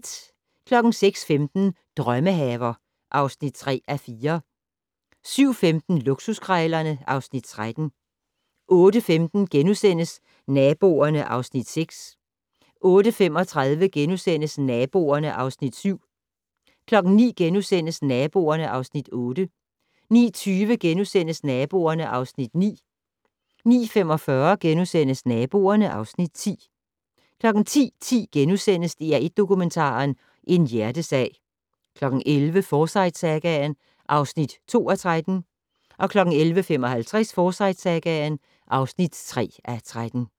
06:45: Drømmehaver (3:4) 07:15: Luksuskrejlerne (Afs. 13) 08:15: Naboerne (Afs. 6)* 08:35: Naboerne (Afs. 7)* 09:00: Naboerne (Afs. 8)* 09:20: Naboerne (Afs. 9)* 09:45: Naboerne (Afs. 10)* 10:10: DR1 Dokumentaren - En hjertesag * 11:00: Forsyte-sagaen (2:13) 11:55: Forsyte-sagaen (3:13)